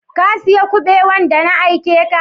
Ka siya kubewan da na aike ka?